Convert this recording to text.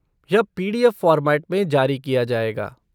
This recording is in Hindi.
यह पी.डी.एफ़. फ़ॉर्मैट में जारी किया जाएगा।